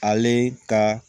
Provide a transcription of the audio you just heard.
Ale ka